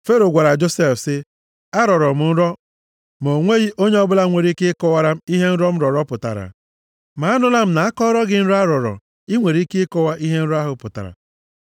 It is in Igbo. Fero gwara Josef sị, “Arọrọ m nrọ ma o nweghị onye ọbụla nwere ike ịkọwara m ihe nrọ m rọrọ pụtara. Ma anụla m na a kọọrọ gị nrọ a rọrọ, i nwere ike ịkọwa ihe nrọ ahụ pụtara.”